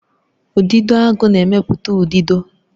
Udidoagu na-emepụta udido